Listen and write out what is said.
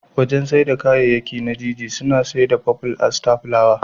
Wajen saida kayayakin na Jiji suna saida faful Aster fulawa.